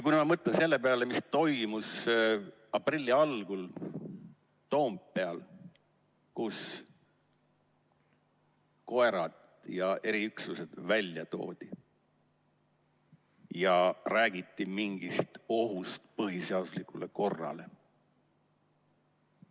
Ma mõtlen selle peale, mis toimus aprilli algul Toompeal, kus koerad ja eriüksused välja toodi ja räägiti mingist ohust põhiseaduslikule korrale.